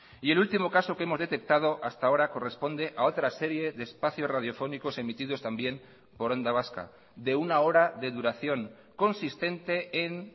y el último caso que hemos detectado hasta ahora corresponde a otra serie de espacios radiofónicos emitidos también por onda vasca de una hora de duración consistente en